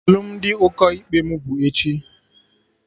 Ee, alụmdi ụkọ ikpe mụ bụ echi